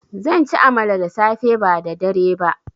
Zanci amala da safe ba da dare ba